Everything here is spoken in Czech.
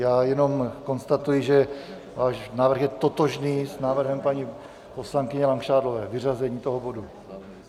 Já jenom konstatuji, že váš návrh je totožný s návrhem paní poslankyně Langšádlové - vyřazení toho bodu.